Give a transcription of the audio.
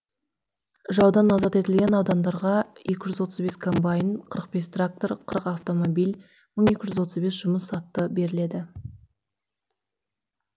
жаудан азат етілген аудандарға екі жүз отыз бес комбайн қырық бес трактор қырық автомобиль мың екі жүз отыз бес жұмыс атты жіберілді